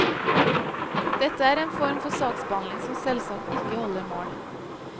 Dette er en form for saksbehandling som selvsagt ikke holder mål.